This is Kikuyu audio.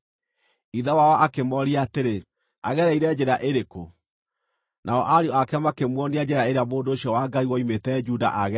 Ithe wao akĩmooria atĩrĩ, “Agereire njĩra ĩrĩkũ?” Nao ariũ ake makĩmuonia njĩra ĩrĩa mũndũ ũcio wa Ngai woimĩte Juda aagereire.